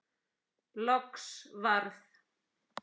Loks varð